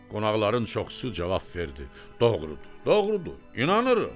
Qonaqların çoxusu cavab verdi: "Doğrudur, doğrudur, inanırıq!"